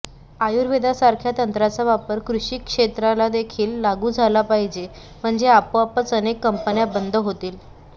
आयुर्वेदासारख्या तंत्राचा वापर कृषी क्षेत्राला देखील लागू झाला पाहिजे म्हणजे आपोआपच अनेक कंपन्या बंद होतील